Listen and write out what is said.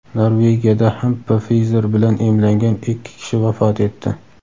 Norvegiyada ham Pfizer bilan emlangan ikki kishi vafot etdi.